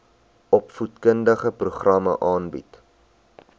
opvoedkundige programme aanbied